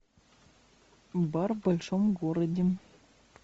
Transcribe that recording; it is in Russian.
бар в большом городе